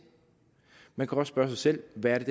man kan også spørge sig selv hvad det